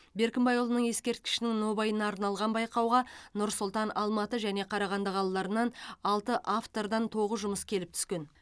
беркімбайұлының ескерткішінің нобайына арналған байқауға нұр сұлтан алматы және қарағанды қалаларынан алты автордан тоғыз жұмыс келіп түскен